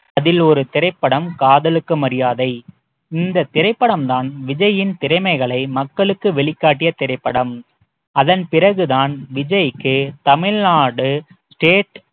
அதில் ஒரு திரைப்படம் காதலுக்கு மரியாதை இந்த திரைப்படம் தான் விஜயின் திறமைகளை மக்களுக்கு வெளிக்காட்டிய திரைப்படம் அதன் பிறகுதான் விஜய்க்கு தமிழ்நாடு state